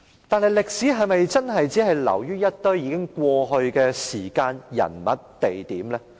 但歷史是否只是流於一堆已過去的時間、人物和地點？